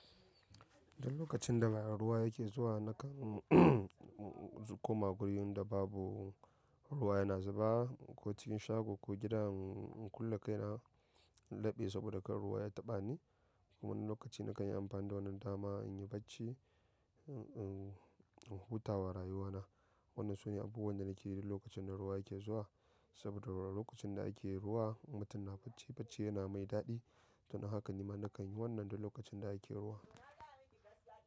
Duk lokacin da ruwa yake zuwa, nakan koma gurin da babu ruwa yana zuba ko cikin shago ko gida. Kulle kaina in leɓe saboda kar ruwa ya taɓa ni. Kuma lokaci na kan yi amfani da wannan dama in yi bacci, in hutawa rayuwa na. Wannan sune abubuwan da nake yi duk lokacin da ruwa yake zuwa. Saboda lokacin da ake ruwa, mutum na bacci bacci yana mai daɗi. Don haka nima na kan yi wannan duk lokacin da ake ruwa.